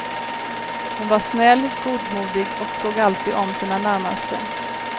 Hon var snäll, godmodig och såg alltid om sina närmaste.